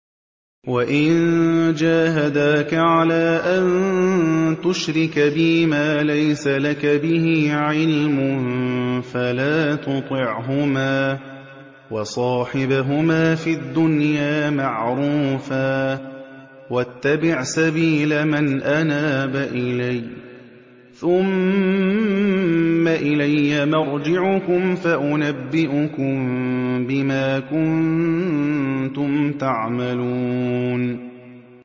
وَإِن جَاهَدَاكَ عَلَىٰ أَن تُشْرِكَ بِي مَا لَيْسَ لَكَ بِهِ عِلْمٌ فَلَا تُطِعْهُمَا ۖ وَصَاحِبْهُمَا فِي الدُّنْيَا مَعْرُوفًا ۖ وَاتَّبِعْ سَبِيلَ مَنْ أَنَابَ إِلَيَّ ۚ ثُمَّ إِلَيَّ مَرْجِعُكُمْ فَأُنَبِّئُكُم بِمَا كُنتُمْ تَعْمَلُونَ